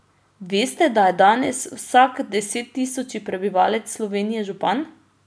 Veste, da je danes vsak desettisoči prebivalec Slovenije župan?